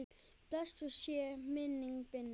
Blessuð sé minning Binnu.